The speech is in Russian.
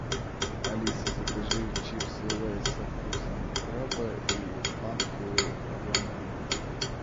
алиса закажи чипсы лейс со вкусом краба и фанту объем один литр